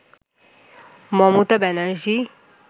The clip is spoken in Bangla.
মমতা ব্যানার্জী